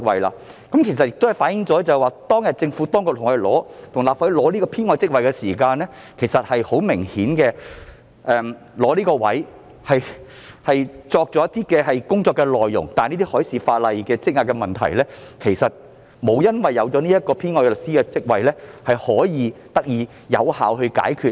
政府當年向立法會申請增加這個編外職位時，明顯擬訂了一系列工作內容，但修訂海事法例所積壓的工作，卻未有因新設的編外律師職位而得以有效解決。